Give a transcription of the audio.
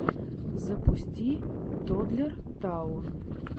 запусти тоддлер таун